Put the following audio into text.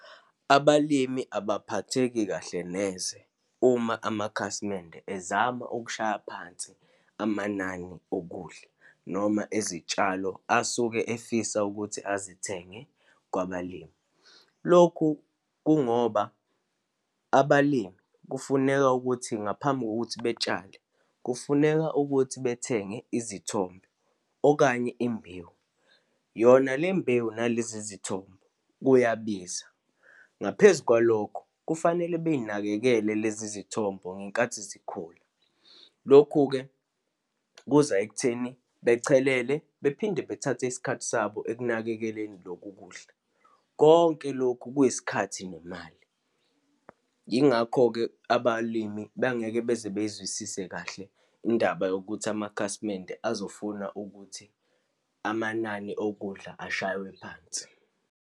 Abalimi abaphatheki kahle neze uma amakhasimende ezama ukushaya phansi amanani okudla, noma ezitshalo asuke efisa ukuthi azithenge kwabalimi. Lokhu kungoba abalimi kufuneka ukuthi, ngaphambi kokuthi betshale, kufuneka ukuthi bethenge izithombo, okanye imbewu, yona lembewu nalezi izithombo, kuyabiza. Ngaphezu kwalokho, kufanele beyinakekele lezi zithombo ngenkathi zikhula. Lokhu-ke kuza ekutheni bechelele, bephinde bethathe isikhathi sabo ekunakekeleni loku kudla. Konke lokhu kuyisikhathi nemali. Yingakho-ke abalimi bengeke beze beyizwisise kahle indaba yokuthi amakhasimende azofuna ukuthi amanani okudla ashaywe phansi.